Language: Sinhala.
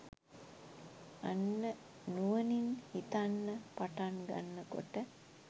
අන්න නුවණින් හිතන්න පටන් ගන්න කොට